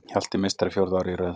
Hjalti meistari fjórða árið í röð